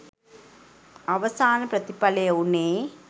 අවසාන ප්‍රතිඵලය වූණේ